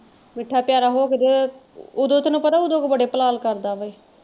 ਮੀਠਾ ਪਿਆਰਾ ਹੋ ਕੇ ਤੇ ਓਦੋਂ ਤੈਨੂੰ ਪਤਾ ਓਦੋਂ ਬੜੇ ਪਲਾਲ ਕਰਦਾ ਵਾ ਇਹ।